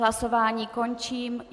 Hlasování končím.